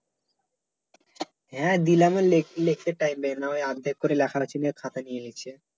হ্যাঁ দিলাম লে¬ লেখতে time দেয় না ঐ অর্ধেক করে লেখা নিচে খাতা নিয়ে নিচ্ছে